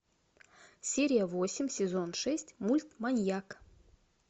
серия восемь сезон шесть мульт маньяк